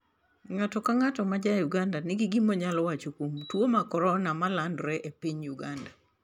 Ng'ato ka ng'ato ma ja Uganda nigi gima onyalo wacho kuom tuo mar corona ma landore e piny Uganda.